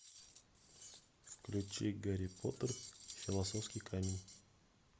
включи гарри поттер философский камень